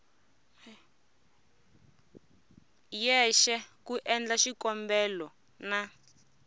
yexe ku endla xikombelo na